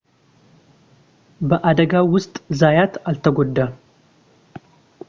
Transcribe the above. በአደጋው ውስጥ ዛያት አልተጎዳም